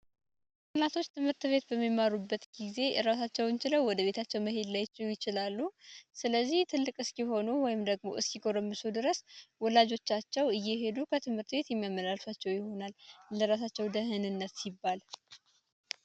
የህፃናቶች ትምህርት ቤት በሚማሩበት ጊዜ እራሳቸውንችለው ወደ ቤታቸው መሄድ ላይችሉ ይችላሉ። ስለዚህ ትልቅ እስኪሆኑ ወይም ደግሞ እስኪ ጎረምሱ ድረስ ወላጆቻቸው እየሄዱ ከትምህርት ቤት የሚያመላልሷቸው ይሆናል። ለራሳቸው ደህንነት ሲባል